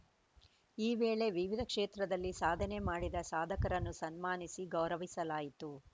ಈ ವೇಳೆ ವಿವಿಧ ಕ್ಷೇತ್ರದಲ್ಲಿ ಸಾಧನೆ ಮಾಡಿದ ಸಾಧಕರನ್ನು ಸನ್ಮಾನಿಸಿ ಗೌರವಿಸಲಾಯಿತು